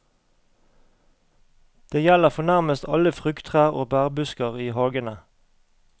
Det gjelder for nærmest alle frukttrær og bærbusker i hagene.